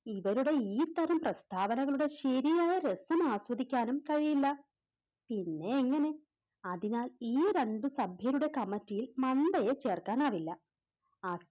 ഇവരുടെ ഈ തരം പ്രസ്താവനകളുടെ ശെരിയായ രസംആസ്വദിക്കാനും കഴിയില്ല പിന്നെ എങ്ങനെ അതിനാൽ ഈ രണ്ട് സഖ്യരുടെ കമ്മിറ്റിയിൽ മന്തയെ ചേർക്കാനാവില്ല ആ